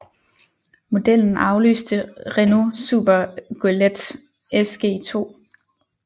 Modellen afløste Renault Super Goélette SG2